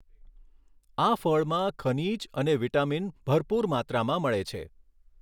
આ ફળમાં, ખનીજ અને વિટામીન ભરપૂર માત્રામાં મળે છે.